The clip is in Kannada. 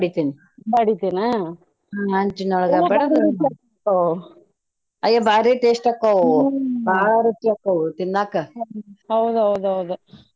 ಬಡಿತಿನ್ ಹ್ಮ್‌ ಹಂಚಿನೊಳಗ ಅಯ್ಯ ಭಾರಿ taste ಅಕ್ಕಾವು ಬಾಳ ರುಚಿ ಅಕ್ಕಾವು ತಿನ್ನಾಕ .